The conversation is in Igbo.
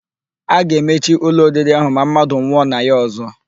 A ga-emechi ụlọ oriri ahụ ma mmadụ nwụọ na ya ọ̀zọ́.